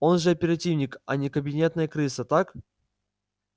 он же оперативник а не кабинетная крыса так